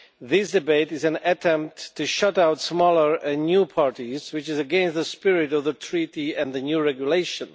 This debate is an attempt to shut out smaller and new parties, which is against the spirit of the Treaty and the new regulation.